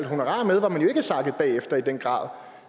honorarer med var man jo ikke sakket bagefter i den grad